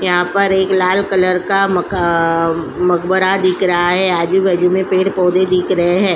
यहाँ पर एक लाल कलर का मका मक़बरा दिख रहा है आजु बाजू में पेड़ पौधे दिख रहे है।